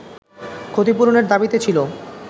ক্ষতিপূরণের দাবিতে ছিল